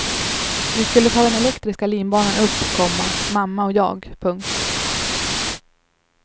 Vi skulle ta den elektriska linbanan upp, komma mamma och jag. punkt